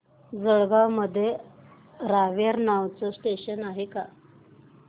जळगाव मध्ये रावेर नावाचं स्टेशन आहे का